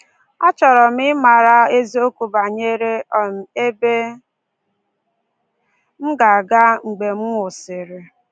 Achọrọ m ịmara eziokwu banyere um ebe m ga-aga mgbe m nwụsịrị